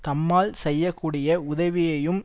தம்மால் செய்ய கூடிய உதவியையும்